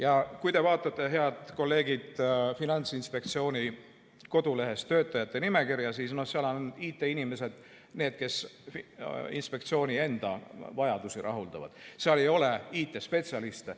Aga kui te, head kolleegid, vaatate Finantsinspektsiooni kodulehel olevat töötajate nimekirja, siis näete, et seal on IT-inimesed, need, kes inspektsiooni enda vajadusi rahuldavad, seal ei ole IT-spetsialiste.